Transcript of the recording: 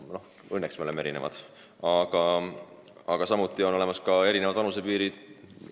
Õnneks me oleme erinevad ja on olemas ka erinevad vanusepiirid.